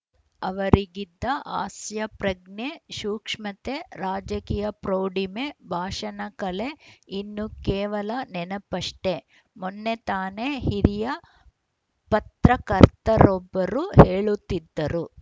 ಅವರಿಗಿದ್ದ ಹಾಸ್ಯಪ್ರಜ್ಞೆ ಸೂಕ್ಷ್ಮತೆ ರಾಜಕೀಯ ಪ್ರೌಢಿಮೆ ಭಾಷಣಕಲೆ ಇನ್ನು ಕೇವಲ ನೆನಪಷ್ಟೆ ಮೊನ್ನೆ ತಾನ ಹಿರಿಯ ಪತ್ರಕರ್ತರೊಬ್ಬರು ಹೇಳುತ್ತಿದ್ದರು